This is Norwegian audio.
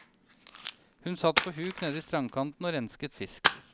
Hun satt på huk nede i strandkanten og renset fisk.